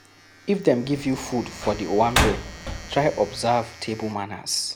If dem give you food for di owanbe, try observe table manners